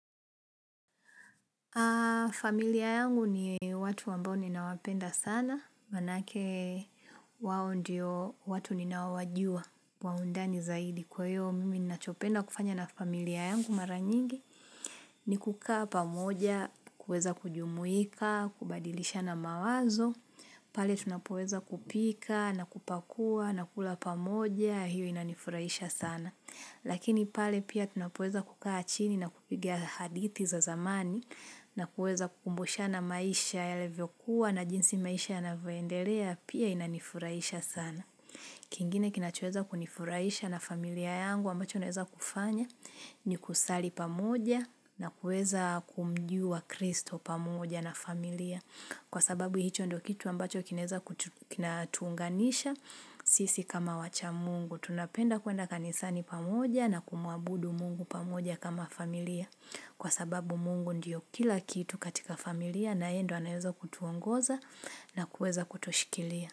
Familia yangu ni watu wambao ninawapenda sana, maanake wao ndio watu ninawajua wa undani zaidi. Kwayo mimi nachopenda kufanya na familia yangu mara nyingi ni kukaa pamoja, kueza kujumuika, kubadilisha na mawazo. Pale tunapoweza kupika na kupakua na kula pamoja hiyo inanifuraisha sana. Lakini pale pia tunapoeza kukaa chini na kupigia hadithi za zamani na kueza kukumbusha na maisha yalivyo kuwa na jinsi maisha ya navyoendelea pia inanifurahisha sana. Kingine kinachoweza kunifuraisha na familia yangu ambacho naweza kufanya ni kusali pamoja na kuweza kumjua kristo pamoja na familia. Kwa sababu hicho ndo kitu ambacho kinaweza kinatuunganisha sisi kama wacha mungu. Tunapenda kwenda kanisani pamoja na kumwabudu mungu pamoja kama familia. Kwa sababu mungu ndiyo kila kitu katika familia na yeye ndio anayeweza kutuongoza na kuweza kutushikilia.